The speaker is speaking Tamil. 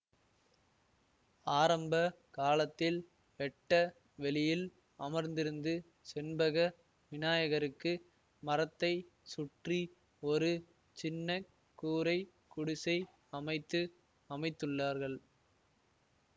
ஆரம்ப காலத்தில் வெட்ட வெளியில் அமர்ந்திருந்து செண்பக விநாயகருக்கு மரத்தை சுற்றி ஒரு சின்ன கூரை குடிசை அமைத்து அமைத்துள்ளார்கள்